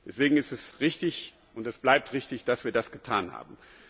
Deshalb ist es richtig, und es bleibt richtig, dass wir das getan haben.